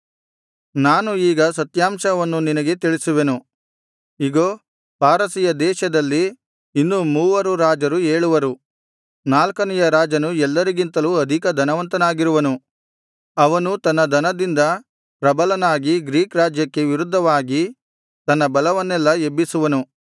ನಾನು ಈಗ ಸತ್ಯಾಂಶವನ್ನು ನಿನಗೆ ತಿಳಿಸುವೆನು ಇಗೋ ಪಾರಸಿಯ ದೇಶದಲ್ಲಿ ಇನ್ನು ಮೂವರು ರಾಜರು ಏಳುವರು ನಾಲ್ಕನೆಯ ರಾಜನು ಎಲ್ಲರಿಗಿಂತಲೂ ಅಧಿಕ ಧನವಂತನಾಗಿರುವನು ಅವನು ತನ್ನ ಧನದಿಂದ ಪ್ರಬಲನಾಗಿ ಗ್ರೀಕ್ ರಾಜ್ಯಕ್ಕೆ ವಿರುದ್ಧವಾಗಿ ತನ್ನ ಬಲವನ್ನೆಲ್ಲಾ ಎಬ್ಬಿಸುವನು